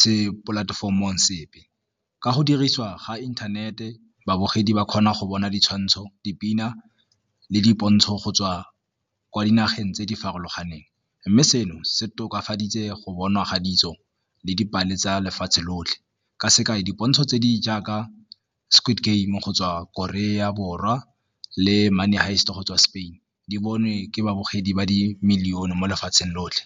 se polatefomong sepe. Ka go dirisiwa ga inthanete babogedi ba kgona go bona ditshwantsho dipina le dipontsho go tswa kwa dinageng tse di farologaneng mme seno se tokafaditse go bonwa ga ditso le dipalo tsa lefatshe lotlhe, ka sekaei, dipontsho tse di jaaka Squid Game go tswa Korea Borwa le Money Heist go tswa Spain di bonwe ke babogedi ba di -million-e mo lefatsheng lotlhe.